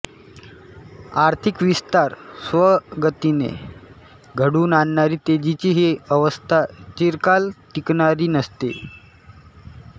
आर्थिक विस्तार स्वयंगतीने घडवून आणणारी तेजीची ही अवस्था चिरकाल टिकणारी नसते